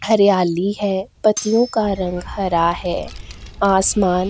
हरियाली है पतियों का रंग हरा है आसमान --